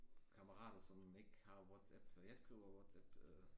Kammerater som ikke har WhatsApp så jeg skriver WhatsApp øh